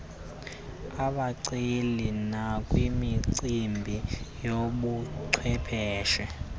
abaceli nakwimicimbi yobuchwephesha